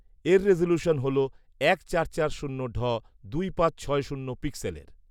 এর রেজুলেশন হলো এক চার চার শূন্য ঢ দুই পাঁচ ছয় শূন্য পিক্সেলের